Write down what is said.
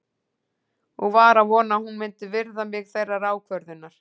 Og var að vona að hún myndi virða mig þeirrar ákvörðunar.